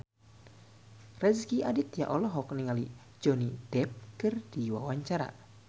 Rezky Aditya olohok ningali Johnny Depp keur diwawancara